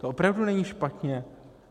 To opravdu není špatně.